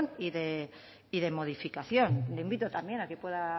y de modificación le invito también a que pueda